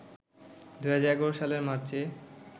২০১১ সালের মার্চে